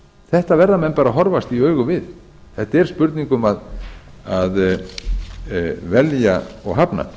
þetta verða menn bara að horfast í augu við þetta er spurning um að velja og hafna